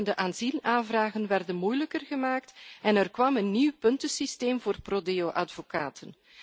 Opeenvolgende asielaanvragen werden moeilijker gemaakt en er kwam een nieuw puntensysteem voor pro Deoadvocaten.